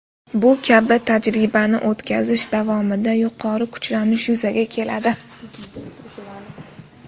Bu kabi tajribani o‘tkazish davomida yuqori kuchlanish yuzaga keladi.